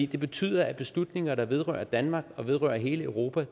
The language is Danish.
det betyder at beslutninger der vedrører danmark og vedrører hele europa